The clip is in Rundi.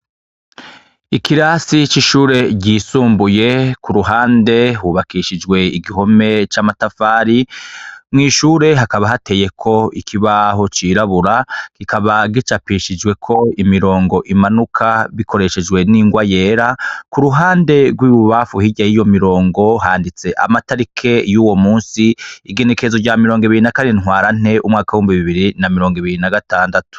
Ikirasi c'ishure ryisumbuye, kuruhande hubakishijwe igihome c'amatafari, mw'ishure hakaba hateyeko ikibaho c'irabura, kikaba gicapishijweko imirongo imanuka bikoreshejwe n'ingwa yera, kuruhande rw'ibubamfu hirya y'iyo mirongo handitse amatarike y'uwo musi, igenekerezo rya mirongo ibiri na kane ntwarante, umwaka w'ibihumbi bibiri na mirongo ibiri na gatandatu.